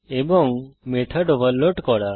এবং method overload করা